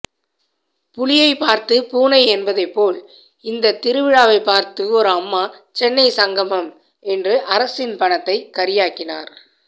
புலியை பார்த்து பூனை என்பதைப்போல் இந்தத்திருவிழாவை பார்த்து ஒரு அம்மா சென்னை சங்கமம் என்று அரசின் பணத்தை கரியாக்கினார்